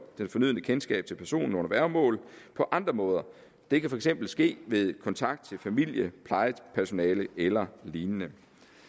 det fornødne kendskab til personen under værgemål på andre måder det kan for eksempel ske ved kontakt til familie plejepersonale eller lignende